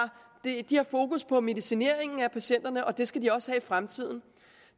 fokus på er medicineringen af patienterne og det skal de også have i fremtiden